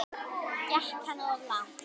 Gekk hann of langt?